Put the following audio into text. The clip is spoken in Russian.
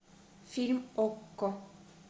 фильм окко